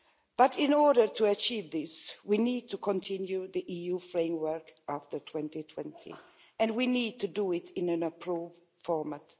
But in order to achieve this, we need to continue the EU framework after 2020, and we need to do it in an approved format.